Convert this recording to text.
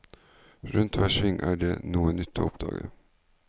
Rundt hver sving er det noe nytt å oppdage.